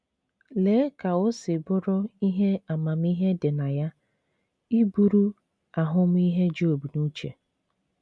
Lee ka o si bụrụ ihe amamihe dị na ya iburu ahụmịhe Job n'uche!